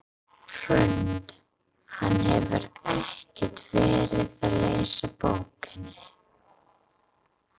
Hrund: Hann hefur ekkert verið að lesa bókina?